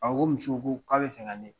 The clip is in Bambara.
A ko muso ko k'a bɛ fɛ ka ne